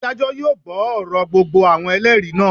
Adájọ́ yóò gbọ́ ọ̀rọ̀ gbogbo àwọn Ẹlẹ́rìí náà.